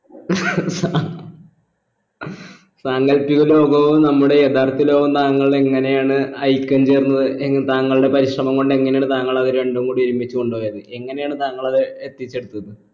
സങ്കല്പപിക ലോകവും നമ്മുടെ യഥാർത്ഥ ലോകവും താങ്കൾ എങ്ങനെയാണ് ഐക്യം ചേർന്നത് എങ് താങ്കളുടെ പാരിശ്രമം കൊണ്ട് എങ്ങനെയാണ് താങ്കൾ അത് രണ്ടും കൂടി ഒരുമിച്ച് കൊണ്ടുപോയത് എങ്ങനെയാണ് താങ്കൾ അത് എത്തിച്ചെടുത്തത്